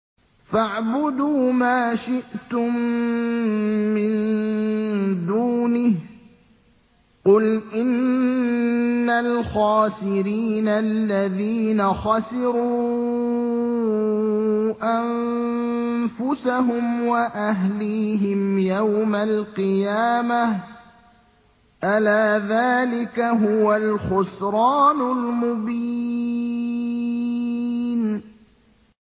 فَاعْبُدُوا مَا شِئْتُم مِّن دُونِهِ ۗ قُلْ إِنَّ الْخَاسِرِينَ الَّذِينَ خَسِرُوا أَنفُسَهُمْ وَأَهْلِيهِمْ يَوْمَ الْقِيَامَةِ ۗ أَلَا ذَٰلِكَ هُوَ الْخُسْرَانُ الْمُبِينُ